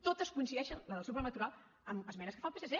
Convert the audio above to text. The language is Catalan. totes coincideixen les del seu programa electoral amb esmenes que fa el psc